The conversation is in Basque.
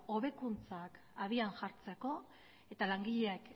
hobekuntzak abian jartzeko eta langileek